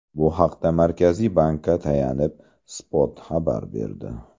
Bu haqda Markaziy bankka tayanib, Spot xabar berdi .